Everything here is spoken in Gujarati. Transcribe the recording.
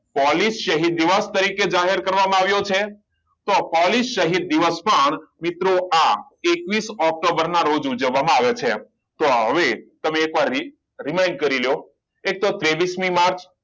પોલીસ શહીદ દિવસ તરીકે જાહેર કરવામાં આવ્યો છે તો પોલીસ શહીદ દિવસ પણ મિત્રો આ એકવીસ ઓક્ટોબરે ના રોજ ઉજવવામાં આવે છે તો હવે તમે એક વાર re~revine કરીલયો એક તો ત્રેવીસ મી માર્ચ